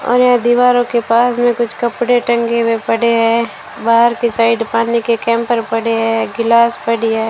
और यहां दीवारों के पास में कुछ कपड़े टंगे हुए पड़े हैं बाहर की साइड पानी के कैंपर पड़े हैं गिलास पड़ी है।